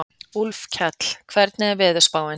Úlfkell, hvernig er veðurspáin?